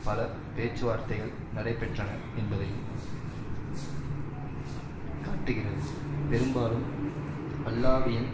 பல பேச்சுவார்த்தைகள் நடைபெற்றன என்பதையும் காட்டுகிறது பெரும்பாலும் அல்லாவியின்